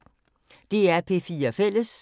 DR P4 Fælles